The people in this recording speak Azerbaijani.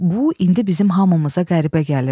Bu indi bizim hamımıza qəribə gəlirdi.